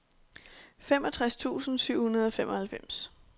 femogtres tusind syv hundrede og femoghalvfems